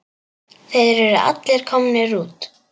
Þeir eru allir komnir út.